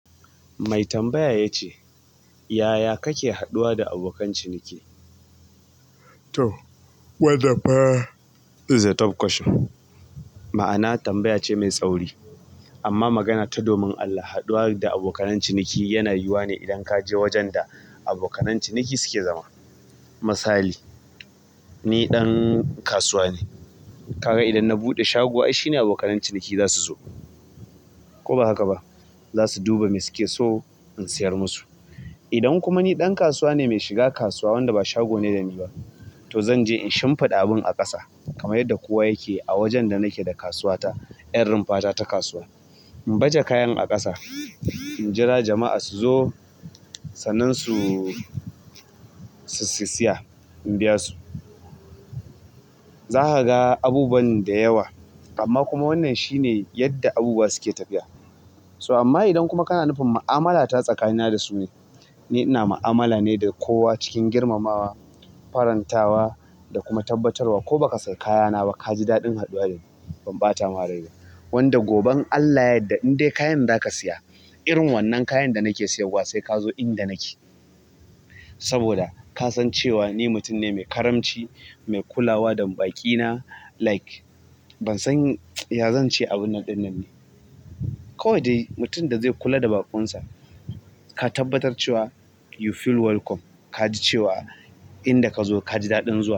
Mai tambaya ya ce, "Yaya kake haɗuwa da abokan ciniki?" To, wannan pa is a tough question. Ma'ana tambaya ce mai tsauri. Amma magana ta domin Allah, haɗuwa da abokan ciniki yana yiwuwa ne idan ka je wajen da abokan ciniki suke zama. Misali, ni ɗan kasuwa ne. Ka ga idan na buɗe shago ai shine abokan ciniki za su zo. Ko ba haka ba, za su duba me suke so in siyar musu. Idan kuma ni ɗan kasuwa ne mai shiga kasuwa wanda ba shago ne da ni ba, to zan je in shimfiɗa abun a ƙasa kamar yadda kowa yake a wajen da nake da kasuwata. Yar rumfa ta ta kasuwa. In baje kayan a ƙasa, in jira jama'a su zo, sannan su, su siya in biya su. Za ka ga abubuwa da yawa, amma kuma wannan shi ne yadda abubuwa suke tafiya. So amma idan kuma kana nufin ma'amala ta tsakanina da su ne, ni ina ma'amala ne da kowa cikin girmamawa, farantawa da kuma tabbatarwa ko ba ka sayi kayana ba ka ji daɗin haɗuwa da ni. Ban ɓata ma rai ba. Wanda gobe in Allah ya yadda in dai kayan za ka siya irin wannan kayan da nake sayarwa sai ka zo inda nake. Saboda ka san cewa ni mutum ne mai karamci, mai kulawa da baƙi na. Like ban san ya zan ce abun ɗin nan ne. Kawai dai mutum da zai kula da baƙonsa. Ka tabbatar cewa you feel welcome. Ka ji cewa inda ka zo ka ji daɗin zuwa.